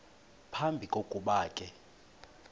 phambi kokuba ke